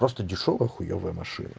просто дешёвая хуёвая машина